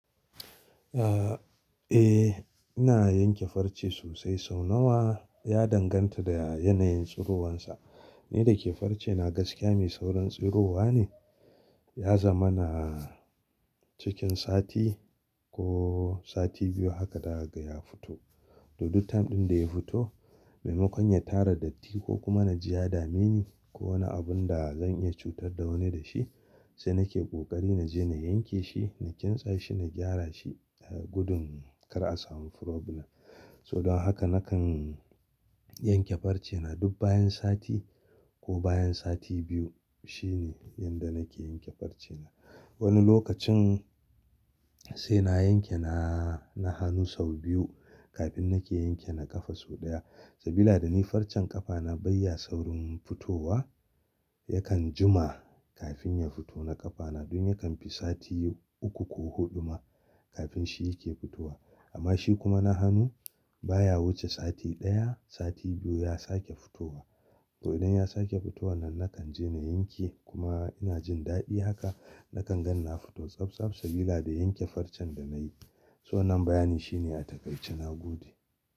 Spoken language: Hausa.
Eh, ina yanke farce sosai. Sau nawa ya danganta da yanayin tsirowarsa. Ni da ke farce na gaskiya mai saurin tsirowa ne. Ya zama na cikin sati ko sati biyu haka daga ya fito. To, duk time ɗin da ya fito, maimakon ya tara datti ko kuma na ji ya dame ni ko wani abun da zan iya cutar da wani da shi, sai nake ƙoƙari na je na yanke shi, na kintsa shi, na gyara shi gudun kar a samu problem. So don haka nakan yanke farce na duk bayan sati ko bayan sati biyu. Shi ne yanda nake yanke farce na. Wani lokacin sai na yanke na hanu sau biyu kafin nake yanke na ƙafa sau ɗaya. Sabila da ni farcen ƙafa na bai ya saurin fitowa, yakan jima kafin ya fito na ƙafa na dun yakan fi sati uku ko huɗu ma kafin shi yake fitowa. Amma shi kuma na hanu baya wuce sati ɗaya, sati biyu ya sake fitowa. To idan ya sake fitowa nan nakan je na yanke kuma ina jin daɗi haka. Nakan ganni na fito tsabtsab sabila da yanke farcen da na yi. So wannan bayan shi ne a taƙaice na gode.